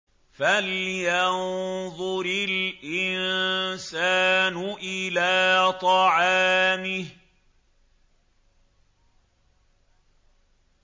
فَلْيَنظُرِ الْإِنسَانُ إِلَىٰ طَعَامِهِ